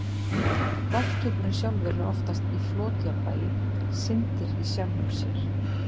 Lofthjúpurinn sjálfur er oftast í flotjafnvægi, syndir í sjálfum sér.